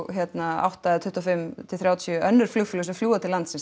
átta eða tuttugu og fimm til þrjátíu önnur flugfélög sem fljúga til landsins